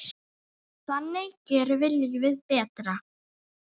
Þannig gerum við lífið betra.